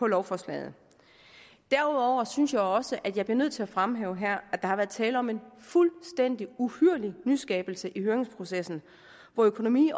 lovforslaget derudover synes jeg også at jeg bliver nødt til at fremhæve her at der har været tale om en fuldstændig uhyrlig nyskabelse i høringsprocessen hvor økonomi